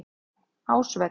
Ásvelli